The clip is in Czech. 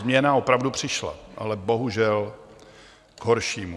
Změna opravdu přišla, ale bohužel k horšímu.